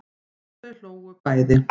Og þau hlógu bæði.